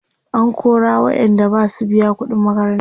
an kora waƴanda Basu biya ƙuɗin makaranta ba